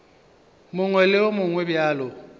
mongwe le wo mongwe bjalo